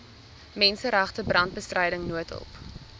menseregte brandbestryding noodhulp